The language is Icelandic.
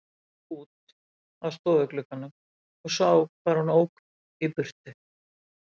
Ég gekk út að stofuglugganum og sá hvar hún ók í burtu.